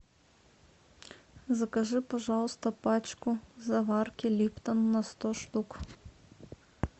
закажи пожалуйста пачку заварки липтон на сто штук